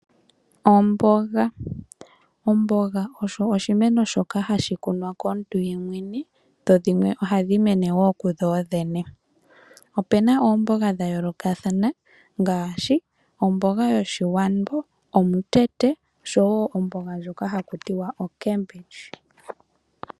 Omboga. Omboga osho oshimeno shoka hashi kunwa komuntu yemwene , dho dhimwe ohadhi mene wo kudhodhene. Ope na oomboga dha yoolokathana ngaashi omboga yoshiwambo, omutete osho wo omboga ndjoka hakuti wa okembidji.